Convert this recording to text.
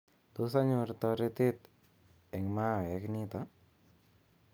Tos anyor toretet eng mahawek nito